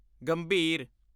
ਗੰਭੀਰ